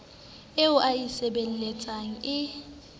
eo o e sebeletsang e